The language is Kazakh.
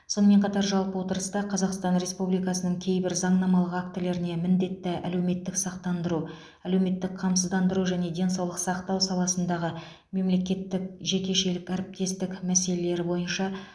сонымен қатар жалпы отырыста қазақстан республикасының кейбір заңнамалық актілеріне міндетті әлеуметтік сақтандыру әлеуметтік қамсыздандыру және денсаулық сақтау саласындағы мемлекеттік жекешелік әріптестік мәселелері бойынша